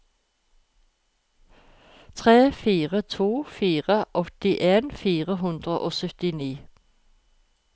tre fire to fire åttien fire hundre og syttini